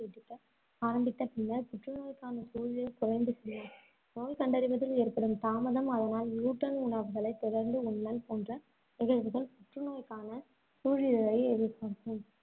ஆரம்பித்த பின்னர், புற்றுநோய்க்கான சூழிடர் குறைந்து நோய் கண்டறிவதில் ஏற்படும் தாமதம், அதனால் gluten உணவுகளைத் தொடர்ந்து உண்ணல் போன்ற நிகழ்வுகள் புற்றுநோய்க்கான சூழிடரை அதிகரிக்கும்.